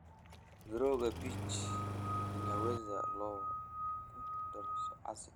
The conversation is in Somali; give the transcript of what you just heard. Mirooga peach inaweza loo ku daro casi.